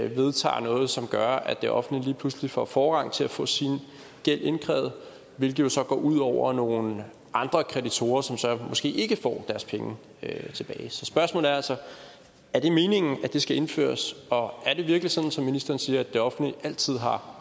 vedtager noget som gør at det offentlige lige pludselig får forrang til at få sin gæld indkrævet hvilket jo så går ud over nogle andre kreditorer som så måske ikke får deres penge tilbage så spørgsmålet er altså er det meningen at det skal indføres og er det virkelig sådan som ministeren siger at det offentlige altid har